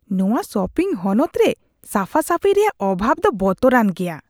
ᱱᱚᱶᱟ ᱥᱚᱯᱤᱝ ᱦᱚᱱᱚᱛ ᱨᱮ ᱥᱟᱯᱷᱟ ᱥᱟᱯᱷᱤᱭ ᱨᱮᱭᱟᱜ ᱚᱵᱷᱟᱵ ᱫᱚ ᱵᱚᱛᱚᱨᱟᱱ ᱜᱮᱭᱟ ᱾